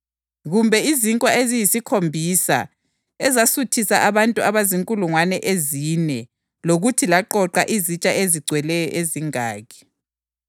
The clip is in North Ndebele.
Kumbe izinkwa eziyisikhombisa ezasuthisa abantu abazinkulungwane ezine lokuthi laqoqa izitsha ezigcweleyo ezingaki?